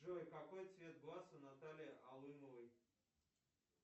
джой какой цвет глаз у натальи алымовой